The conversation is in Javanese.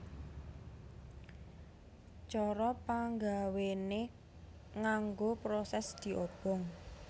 Cara panggawéné nganggo prosès diobong